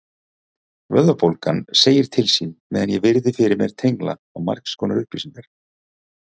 Vöðvabólgan segir til sín meðan ég virði fyrir mér tengla á margskonar upplýsingar.